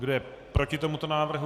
Kdo je proti tomuto návrhu?